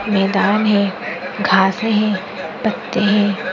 मैदान है घासे है पत्ते है।